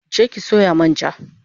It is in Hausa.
Je ki sayo man ja